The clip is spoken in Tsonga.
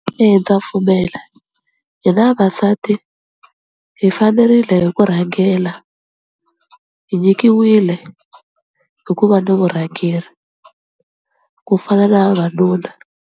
Eya ndza pfumela, hina vavasati hi fanerile hi ku rhangela hi nyikiwile hikuva na vurhangeri ku fana na vavanuna.